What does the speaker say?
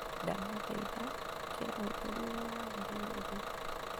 ndaguthaitha ikira utheri ũrĩa wagĩrĩire riko